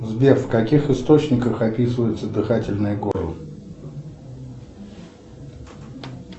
сбер в каких источниках описывается дыхательное горло